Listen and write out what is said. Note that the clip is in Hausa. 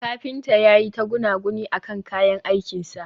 kafinta yayi ta gunaguni akan kayan aikin sa